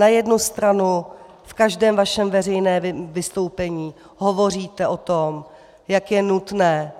Na jednu stranu v každém svém veřejném vystoupení hovoříte o tom, jak je nutné,